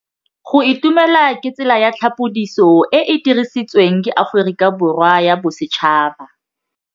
Go itumela ke tsela ya tlhapolisô e e dirisitsweng ke Aforika Borwa ya Bosetšhaba.